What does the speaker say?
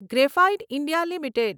graphite India limited